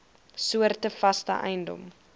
soorte vaste eiendom